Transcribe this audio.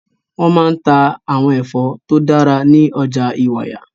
Wọ́n máa ń ta àwọn ẹ̀fọ́ tó dára ní ọjà Ìwàyà.